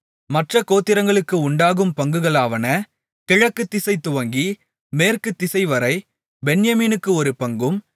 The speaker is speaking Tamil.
மற்றக் கோத்திரங்களுக்கு உண்டாகும் பங்குகளாவன கிழக்குதிசை துவங்கி மேற்குத்திசைவரை பென்யமீனுக்கு ஒரு பங்கும்